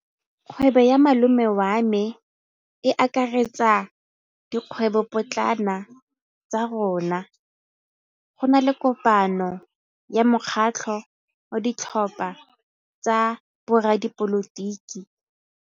Kgwêbô ya malome wa me e akaretsa dikgwêbôpotlana tsa rona. Go na le kopanô ya mokgatlhô wa ditlhopha tsa boradipolotiki.